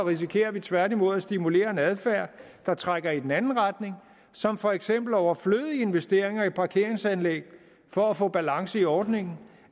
risikerer vi tværtimod at stimulere en adfærd der trækker i den anden retning som for eksempel overflødige investeringer i parkeringsanlæg for at få balance i ordningen